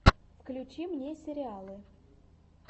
включи мне сериалы